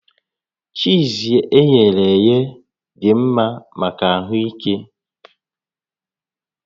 Chiiz eghere eghe dị mma maka ahụ ike